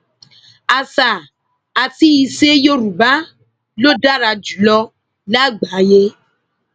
àṣà àti ìṣe yorùbá ló dára jù lọ lágbàáyé